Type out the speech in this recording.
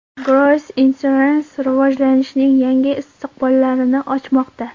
Gross Insurance rivojlanishning yangi istiqbollarini ochmoqda.